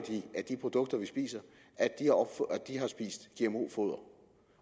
af de produkter vi spiser har spist gmo foder